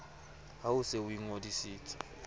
ha o se o ingodisitse